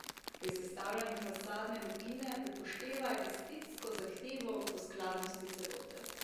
Pri sestavljanju fasadne lupine upoštevaj estetsko zahtevo po skladnosti celote.